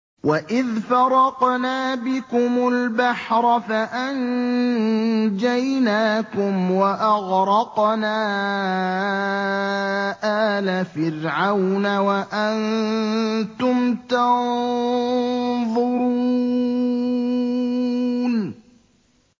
وَإِذْ فَرَقْنَا بِكُمُ الْبَحْرَ فَأَنجَيْنَاكُمْ وَأَغْرَقْنَا آلَ فِرْعَوْنَ وَأَنتُمْ تَنظُرُونَ